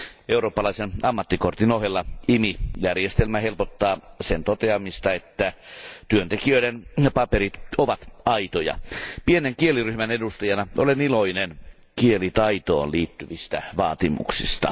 Eurooppalaisen ammattikortin ohella IMI järjestelmä helpottaa sen toteamista, että työntekijöiden paperit ovat aitoja. Pienen kieliryhmän edustajana olen iloinen kielitaitoon liittyvistä vaatimuksista.